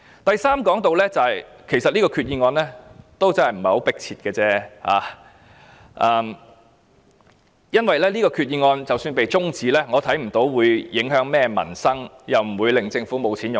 第三，其實這項決議案也不是很迫切，因為這項決議案的辯論即使中止待續，我看不到會影響民生，也不會令政府缺錢用。